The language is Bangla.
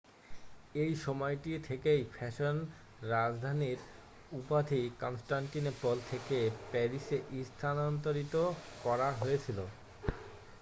এই সময়টি থেকেই ফ্যাশন রাজধানীর উপাধি কনস্ট্যাণ্টিনোপল থেকে প্যারিসে স্থানান্তরিত করা হয়েছিল